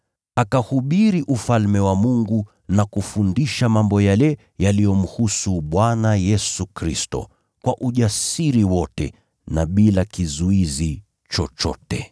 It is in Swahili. Akahubiri Ufalme wa Mungu na kufundisha mambo yale yaliyomhusu Bwana Yesu Kristo, kwa ujasiri wote na bila kizuizi chochote.